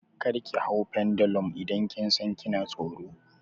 Kar ki hau pendulum idan kin san kina tsoro!